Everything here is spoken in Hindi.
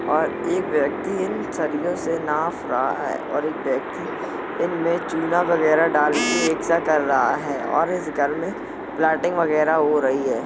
और एक व्यक्ति इन सरियो से नाफ रहा है और एक व्यक्ति इनमें चुना वगैरह डाल के एक सा कर रहा है और इस घर में प्लाटिंग वगैरह हो रही है।